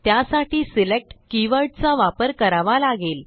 त्यासाठी सिलेक्ट कीवर्डचा वापर करावा लागेल